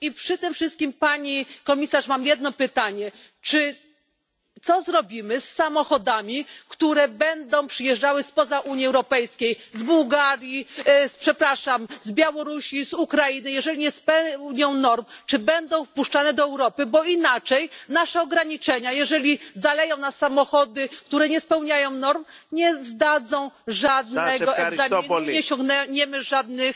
Przy tym wszystkim, Pani Komisarz mam jedno pytanie, co zrobimy z samochodami, które będą przyjeżdżały spoza Unii Europejskiej, z Bułgarii, z przepraszam z Białorusi, Ukrainy, jeżeli nie spełniają norm, czy będą wpuszczane do Europy, bo inaczej nasze ograniczenia, jeżeli zaleją nas samochody, które nie spełniają norm, nie zdadzą żadnego egzaminu, nie osiągniemy żadnych